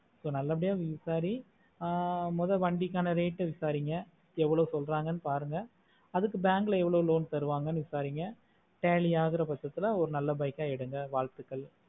நல்ல பாடிய விசாரி மோதல் வண்டிக்கான rate ஆஹ் விசாரிங்க எவ்ளோ சொல்லுறாங்கனு பாருங்க அதுக்கு bank ல எவ்ளோ loan தருவாங்கனு விசாரிங்க tally ஆகுற பக்கத்துல ஒரு நல்ல ஆஹ் எடுங்க வாழ்த்துக்கள்